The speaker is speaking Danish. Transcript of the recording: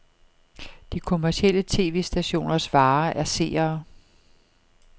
De kommercielle tv-stationers vare er seere.